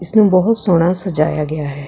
ਇਸ ਨੂੰ ਬਹੁਤ ਸੋਹਣਾ ਸਜਾਇਆ ਗਿਆ ਹੈ।